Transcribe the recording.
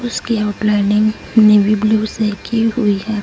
उसकी lining navy blue से की हुई हैं।